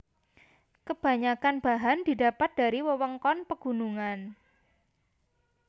Kebanyakan bahan didapat dari wewengkon pegunungan